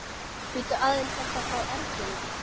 Bíddu aðeins, er það frá Erninum?